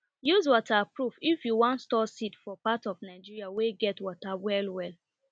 use waterproof if you wan store seed for part of nigeria wey get water well well